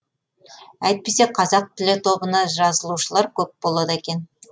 әйтпесе қазақ тілі тобына жазылушылар көп болады екен